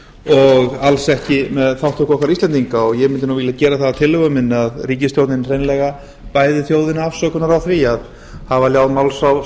og alls ekki með þátttöku okkar íslendinga ég mundi nú vilja gera það að tillögu minni að ríkisstjórnin hreinlega bæði þjóðina afsökunar á því að hafa hjá máls á